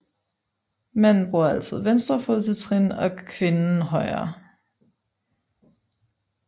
Manden bruger altid venstre fod til trin 1 og kvinden højre